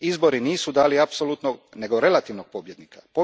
Izbori nisu dali apsolutnog nego relativnog pobjednika.